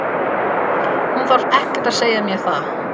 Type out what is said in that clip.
Hún þarf ekkert að segja mér það.